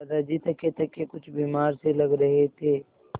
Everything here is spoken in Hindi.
दादाजी थकेथके कुछ बीमार से लग रहे थे